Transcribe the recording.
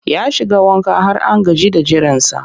Ya shiga wanka har an gaji da jiransa